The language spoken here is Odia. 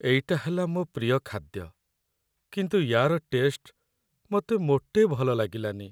ଏଇଟା ହେଲା ମୋ' ପ୍ରିୟ ଖାଦ୍ୟ, କିନ୍ତୁ ୟା'ର ଟେଷ୍ଟ ମତେ ମୋଟେ ଭଲ ଲାଗିଲାନି ।